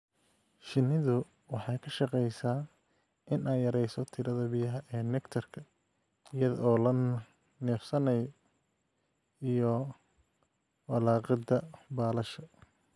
Shinnidu waxay ka shaqeysaa in ay yareyso tirada biyaha ee nectar-ka iyada oo la neefsanayo iyo walaaqida baalasha.